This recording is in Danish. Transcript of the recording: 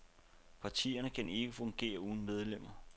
Partierne kan ikke fungere uden medlemmer.